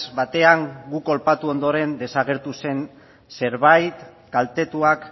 batean gu kolpatu ondoren desagertu zen zerbait kaltetuak